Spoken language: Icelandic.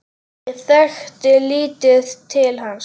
Ég þekkti lítið til hans.